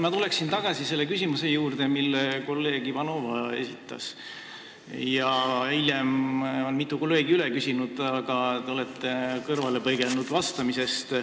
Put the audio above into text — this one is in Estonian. Ma tulen tagasi selle küsimuse juurde, mille kolleeg Ivanova esitas ja mida hiljem on mitu kolleegi üle küsinud, aga te olete vastamisest kõrvale põigelnud.